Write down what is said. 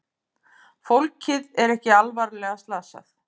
Fólkið er ekki alvarlega slasað